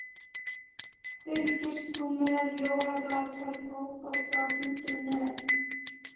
Fylgist þú með Jóladagatali Fótbolta.net?